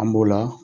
An b'o la